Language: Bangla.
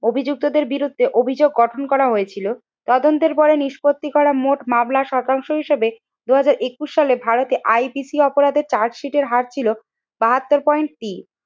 অভিযুক্তদের বিরুদ্ধে অভিযোগ গঠন করা হয়েছিল। তদন্তের পরে নিষ্পত্তি করা মোট মামলা শতাংশ হিসেবে দুই হাজার একুশ সালে ভারতে IPC অপরাধের চার্জশিটের হার ছিল বাহাত্তর পয়েন্ট তিন।